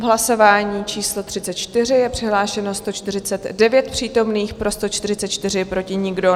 V hlasování číslo 34 je přihlášeno 149 přítomných, pro 144, proti nikdo.